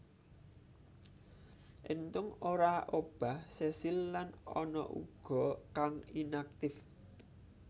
Enthung ora obah sesil lan ana uga kang inaktif